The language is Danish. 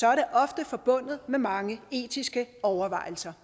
er det ofte forbundet med mange etiske overvejelser